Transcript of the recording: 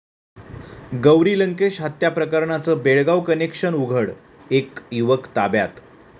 गौरी लंकेश हत्या प्रकरणाचं बेळगाव कनेक्शन उघड, एक युवक ताब्यात